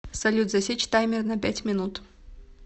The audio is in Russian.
салют засечь таймер на пять минут